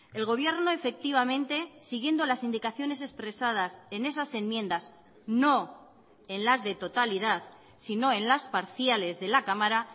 el gobierno efectivamente siguiendo las indicaciones expresadas en esas enmiendas no en las de totalidad sino en las parciales de la cámara